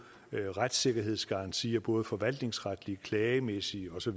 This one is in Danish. retssikkerhedsgarantier både forvaltningsretlige klagemæssige osv